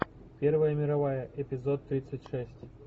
первая мировая эпизод тридцать шесть